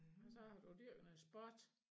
Hvad så har du dyrket noget sport